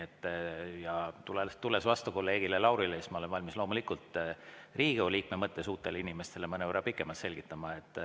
Ja tulles vastu kolleeg Laurile, ma olen valmis loomulikult Riigikogu liikme mõttes uuele inimesele mõnevõrra pikemalt selgitama.